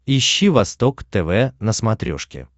ищи восток тв на смотрешке